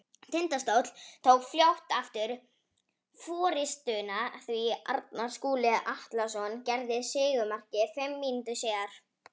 Tindastóll tók fljótt aftur forystuna því Arnar Skúli Atlason gerði sigurmarkið fimm mínútum síðar.